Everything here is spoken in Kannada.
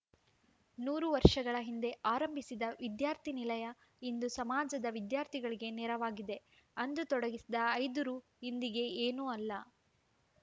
ನೂರು ವರ್ಷಗಳ ಹಿಂದೆ ಆರಂಭಿಸಿದ ವಿದ್ಯಾರ್ಥಿ ನಿಲಯ ಇಂದು ಸಮಾಜದ ವಿದ್ಯಾರ್ಥಿಗಳಿಗೆ ನೆರವಾಗಿದೆ ಅಂದು ತೊಡಗಿಸಿದ ಐದು ರು ಇಂದಿಗೆ ಏನೂ ಅಲ್ಲ